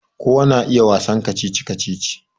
Kowa na iya wasan kacici-kacici